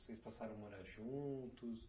Vocês passaram a morar juntos?